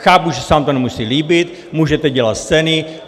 Chápu, že se vám to nemusí líbit, můžete dělat scény.